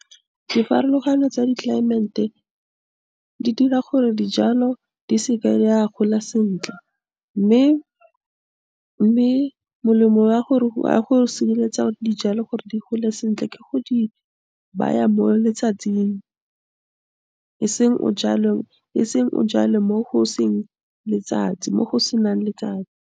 Di pharologano tsa di-climate-e di dira gore dijalo di seke di a gola sentle, mme molemo wa gore, wa go sireletsa dijalo gore di gole sentle ke go di baya bo letsatsing, e seng o jale mo go seng letsatsi, mo go senang letsatsi.